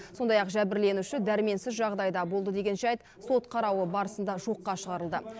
сондай ақ жәбірленуші дәрменсіз жағдайда болды деген жайт сот қарауы барысында жоққа шығарылды